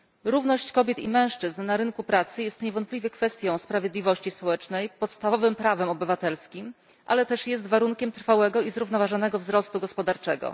Równość kobiet i mężczyzn na rynku pracy jest niewątpliwie kwestią sprawiedliwości społecznej, podstawowym prawem obywatelskim, ale jest też warunkiem trwałego i zrównoważonego wzrostu gospodarczego.